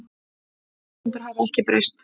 Þær forsendur hafi ekkert breyst